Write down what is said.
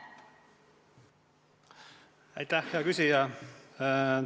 Aitäh, hea küsija!